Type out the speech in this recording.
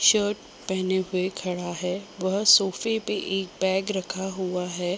Shirt पहने हुए खड़ा हैवह शॉपे पे एक बैग रखा हुआ है।